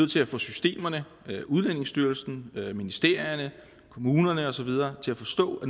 til at få systemerne udlændingestyrelsen ministerierne kommunerne og så videre til at forstå at